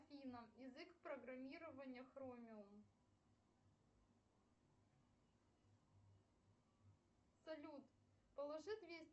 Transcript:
афина язык программирования хромиум салют положи двести